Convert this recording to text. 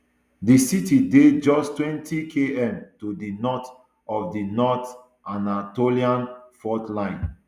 di city dey just twentykm to di north of di north anatolian fault line